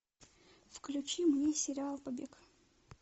включи мне сериал побег